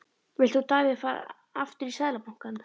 Vilt þú Davíð aftur í Seðlabankann?